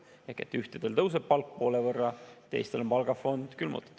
Ehk et ühtedel tõuseb palk poole võrra, teistel on palgafond külmutatud.